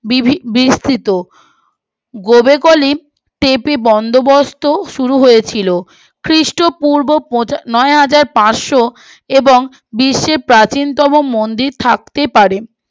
বিভি বিস্মৃত বন্দোবস্ত শুরু হয়েছিল খ্রীষ্ট পূর্ব নয় হাজার পার্সো এবং বিশ্বে প্রাচীনতম মন্দির থাকতে পারে